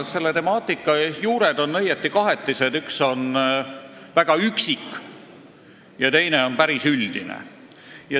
Selle temaatika juured on õieti kahetised – üks on väga üksik ja teine on päris üldine.